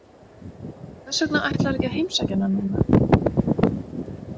Hvers vegna ætlarðu ekki að heimsækja hana núna?